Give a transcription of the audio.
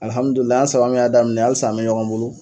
an saba mun y'a daminɛ halisa an bɛ ɲɔgɔn bolo